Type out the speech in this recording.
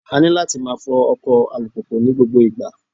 A ní láti máa fọ ọkọ̀ alùpùpù ní gbogbo ìgbà.